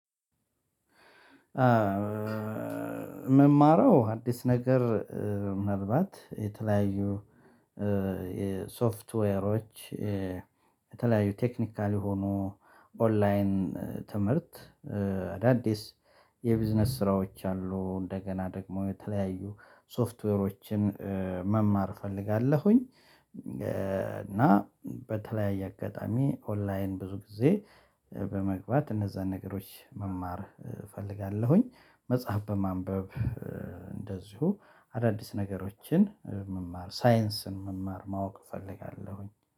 እምማረው አዲስ ነገር ምናልባት የተለያዩ የሶፍትዌሮች የተለያዩ ቴክኒካል የሆኑ ኦንላይን ትምህርት አዳዲስ የቢዝነስ ስራዎች አሉ። እንደገና ደግሞ የተለያዩ ሶፍትዌሮችን መማር እፈልጋለሁኝ። እና በተለያየ አጋጣሚ ኦንላይን ብዙ ግዜ በመግባት እነዛን ነገሮች መማር እፈልጋለሁኝ። መጽሐፍ በማንበብ እንደዚሁ አዳዲስ ነገሮችን መማር ሳይንስን መማር ማወቅ እፈልጋለሁኝ